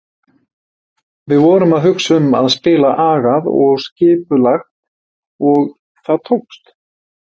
Við vorum að hugsa um að spila agað og skipulagt og það tókst.